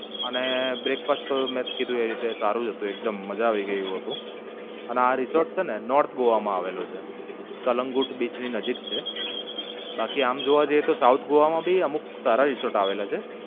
અને મેં જ કીધું એ રીતે સારું હતું એકદમ મજા આવી ગઈ એવું હતું અને આ રિસોર્ટ છેને North Goa માં આવેલું છે. કલંગગોટ બીચ ની નજીક છે. બાકી આમ જોવા જઇયે તો South Goa માં ભી અમુક સારા રિસોર્ટ આવેલા છે.